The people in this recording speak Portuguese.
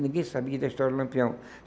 Ninguém sabia da história do Lampião.